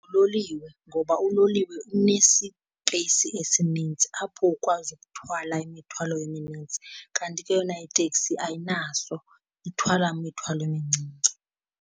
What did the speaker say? Nguloliwe, ngoba uloliwe unesipeyisi esinintsi apho ukwazi ukuthwala imithwalo eminintsi. Kanti ke yona iteksi ayinaso, ithwala imithwalo emincinci.